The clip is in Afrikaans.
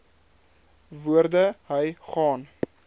woorde hy gaan